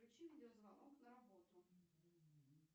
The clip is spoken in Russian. включи видеозвонок на работу